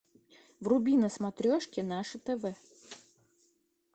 вруби на смотрешке наше тв